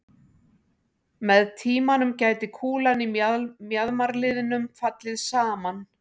Með tímanum gæti kúlan í mjaðmarliðnum fallið saman.